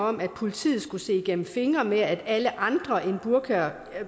om at politiet skulle se igennem fingre med alle andre end burka